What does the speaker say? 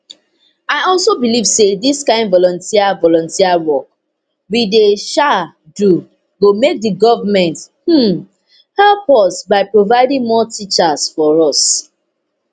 i also believe say dis kind volunteer volunteer work we dey um do go make di goment um help us by providing more teachers for us